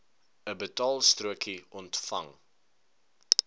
n betaalstrokie ontvang